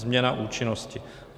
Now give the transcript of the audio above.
Změna účinnosti.